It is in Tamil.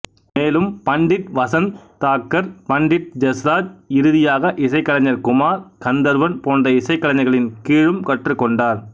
மேலும் பண்டிட் வசந்த் தாக்கர் பண்டிட் ஜஸ்ராஜ் இறுதியாக இசைக்கலைஞர் குமார் கந்தர்வன் போன்ற இசைக்கலைஞர்களின் கீழும் கற்றுக் கொண்டார்